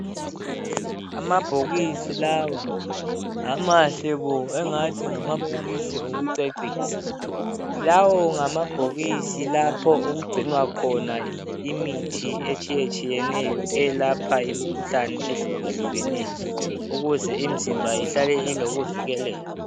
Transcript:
Amabhokisi lawa amahle kubi engathi ngamabhokisi okucecisa lawo ngamabhokisi lapho okugcinwa khona imithi etshiye tshiyeneyo elapha imikhuhlane ehluke hlukeneyo ukuze imizimba ihlale ilokuvikeleka.